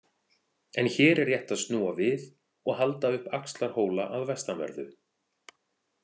En hér er rétt að snúa við og halda upp Axlarhóla að vestanverðu.